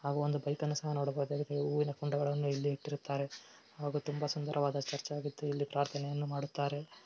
ನಾವೊಂದು ಬೈಕನ್ನು ಸಹ ನೋಡಬಹುದು ಜೀಸಸ್ ಸಹ ನೋಡಬಹುದು ಅದೊಂದು ಸುಂದರವಾದ ಚರ್ಚಾಗಿದ್ದು ಅದರ ಮುಂದೆ ಒಬ್ಬ ಯುವಕ ನಿಂತಿದ್ದಾನೆ